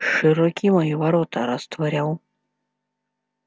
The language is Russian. широки мои ворота растворял